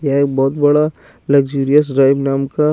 ये एक बोहोत बड़ा लग्जिरियस राइब नाम का--